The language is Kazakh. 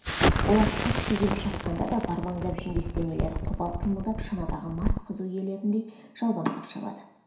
олар қатты жүріп шапқанда да барбаңдап жүндес денелері қопал қимылдап шанадағы мас қызу иелеріндей жалбаңдап шабады